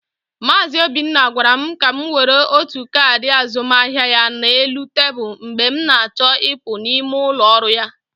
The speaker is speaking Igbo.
Mazị Obinna gwara m ka m were otu kaadị azụmaahịa ya na elu tebụl mgbe m na-achọ ịpụ n'ime ụlọ ọrụ ya.